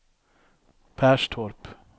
Perstorp